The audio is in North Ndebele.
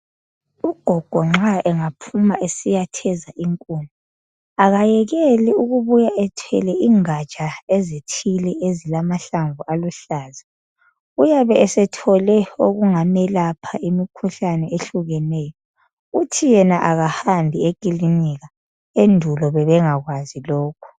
Ugogo nxa engaphuma esiyatheza inkuni akayekeli ukubuya ethwele ingatsha ezithile ezilamahlamvu aluhlaza, uyabe sethole okungamelapha imikhuhlane ehlukeneyo. Uthi yena akahambi ekilinika, endulo bebengakwazi lokho.